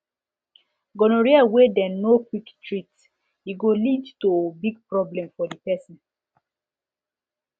gonorrhea wey dem no quick treat e go lead to big problem for the person